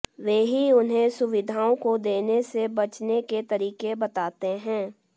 वे ही उन्हें सुविधाओं को देने से बचने के तरीके बताते है